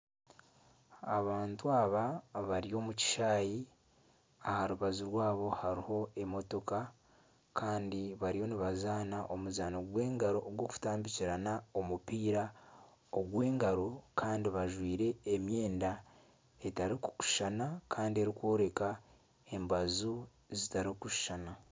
Abantu aba abari omu kishaayi, aha rubaju rwabo hariho emotoka, kandi bariyo nibazaana omuzaano gw'engaro ogw'omutambukirana omupiira ogw'engaro kandi bajwaire emyenda etarikushushana kandi erikworeka embaju zitarikushushana